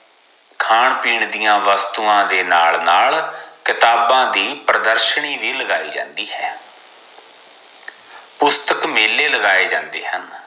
ਖਾਨ ਪੀਣ ਦੀਆ ਵਸਤੂਆਂ ਦੇ ਨਾਲ ਨਾਲ ਕਤਾਬਾਂ ਦੀ ਪ੍ਰਦਾਰਸ਼ੀਨੀ ਵੀ ਲਗਾਈ ਜਾਂਦੀ ਹੈ ਪੁਸਤਕ ਮੇਲੇ ਲਗਾਏ ਜਾਂਦੇ ਹਨ